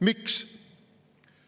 Miks?